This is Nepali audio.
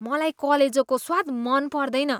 मलाई कलेजोको स्वाद मन पर्दैन।